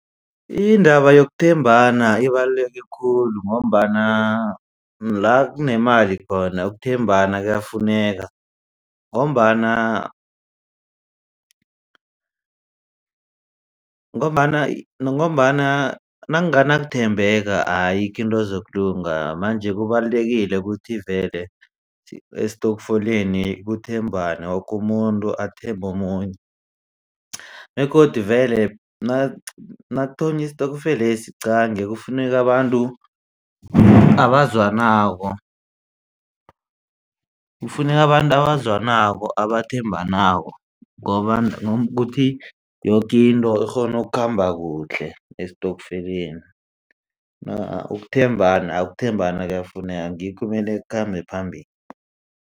Indaba yokuthembana ibaluleke khulu ngombana la kunemali khona ukuthembana kuyafuneka ngombana ngombana ngombana nakunganakuthembeka ayikho into ezokulunga manje kubalulekile ukuthi vele esitokfeleni kuthembanwe woke umuntu athembe omunye begodu vele nakuthonywa isitokfelesi qangi kufuneka abantu abazwanako. Kufuneka abantu abazwanako abathembanako ngoba ukuthi yoke into ikghono ukukhamba kuhle esitokfeleni ukuthembana ukuthembana kuyafuneka ngikho okumele kukhambe phambili.